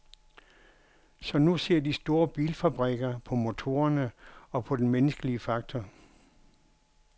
Så nu ser de store bilfabrikker på motorerne, og på den menneskelige faktor.